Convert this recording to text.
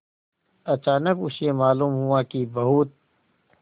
अचानक उसे मालूम हुआ कि बहुत